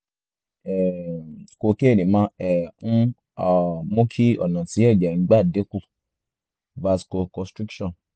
um kokéènì máa um ń um mú kí ọ̀nà tí ẹ̀jẹ̀ ń gbà dín kù vasoconstriction